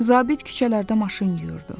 Zabit küçələrdə maşın yuyurdu.